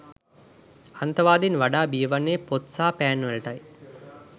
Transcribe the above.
අන්තවාදීන් වඩා බිය වන්නේ පොත් සහ පෑන්වලටයි.